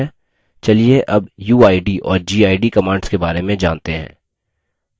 चलिए अब uid और gid commands के बारे में जानते हैं